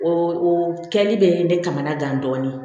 O o kɛli bɛ ne kamana gan dɔɔnin